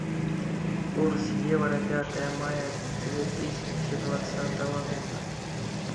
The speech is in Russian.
курс евро пятое мая две тысячи двадцатого года